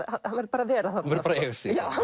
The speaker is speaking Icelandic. hann verður bara að vera þarna hann